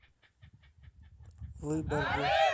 выборгу